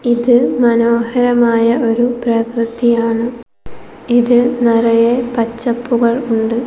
ഇത് മനോഹരമായ ഒരു പ്രകൃതിയാണ് ഇത് നിറയെ പച്ചപ്പുകൾ ഉണ്ട്.